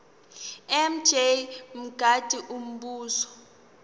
mj mngadi umbuzo